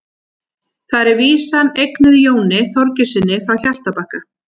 þar er vísan eignuð jóni þorgeirssyni frá hjaltabakka